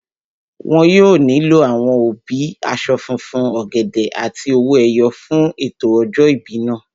Wọn yóò nílò àwọn obì, aṣọ funfun, ọ̀gẹ̀dẹ̀ àti owó ẹyọ fún ètò ọjọ́ ìbí náà